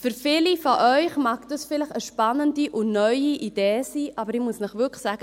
Für viele von Ihnen mag dies vielleicht eine spannende und neue Idee sein, aber ich muss Ihnen wirklich sagen: